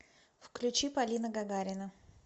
включи полина гагарина